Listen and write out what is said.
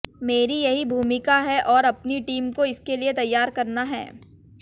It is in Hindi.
मेरी यही भूमिका है और अपनी टीम को इसके लिए तैयार करना है